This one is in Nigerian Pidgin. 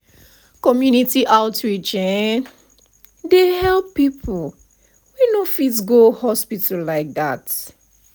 community outreach[um]dey help people wey no fit go hospital like that.